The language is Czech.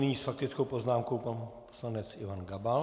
Nyní s faktickou poznámkou pan poslanec Ivan Gabal.